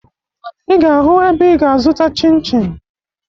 Ị ga-ahụ ebe ị ga-azụta chịn chịn